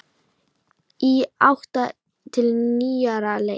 Í átt til nýrrar leitar.